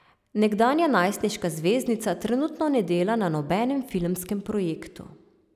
Nekdanja najstniška zvezdnica trenutno ne dela na nobenem filmskem projektu.